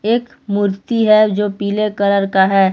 एक मूर्ति है जो पीले कलर का है।